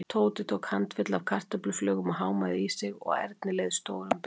Tóti tók handfylli af kartöfluflögum og hámaði í sig og Erni leið stórum betur.